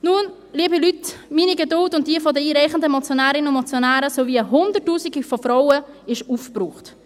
Nun, liebe Leute, meine Geduld und die der einreichenden Motionärinnen und Motionäre sowie jene von Hundertausenden von Frauen ist aufgebraucht.